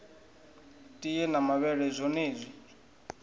tie na mavhele na zwonezwi